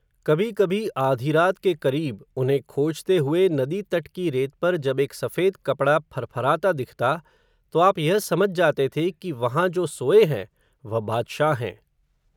कभी कभी आधीरात के क़रीब, उन्हें खोजते हुए, नदी तट की रेत पर जब एक सफ़ेद कपड़ा, फर फराता दिखता, तो आप यह समझ जाते थे, कि वहां जो सोये हैं, वह बादशाह हैं